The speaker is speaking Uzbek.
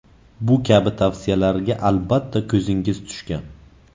Bu kabi tavsiyalarga albatta ko‘zingiz tushgan.